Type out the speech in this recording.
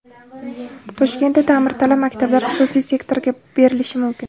Toshkentda ta’mirtalab maktablar xususiy sektorga berilishi mumkin.